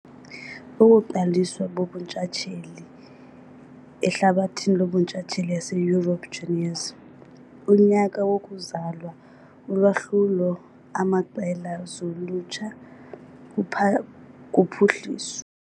Ukuqaliswa bobuntshatsheli ehlabathini lobuntshatsheli yaseYurophu juniors, unyaka wokuzalwa ulwahlulo amaqela zolutsha kuphuhliswa.